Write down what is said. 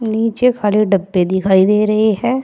नीचे खाली डब्बे दिखाई दे रहे हैं।